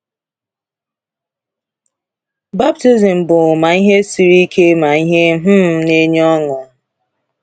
Baptizim bụ ma ihe siri ike ma ihe um na-enye ọṅụ.